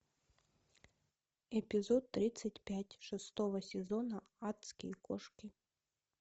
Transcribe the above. эпизод тридцать пять шестого сезона адские кошки